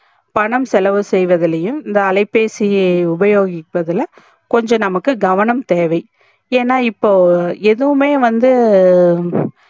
பணம் செலவு செய்வதுலையும் இந்த அலைபேசிய உபோகிப்பதுல கொஞ்சம் நமக்கு கவனம் தேவை ஏனா இப்போ எதுவுமே வந்து